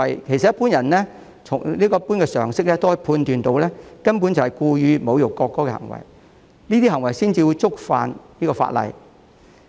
其實，普通人憑一般常識也可判斷得到，上述行為根本是故意侮辱國歌，這些行為才會觸犯法例。